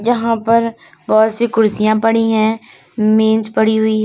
यहां पर बहुत सी कुर्सियां पड़ी हैं मेज पड़ी हुई है।